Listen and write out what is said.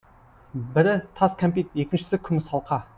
бірі тас кәмпит екіншісі күміс алқа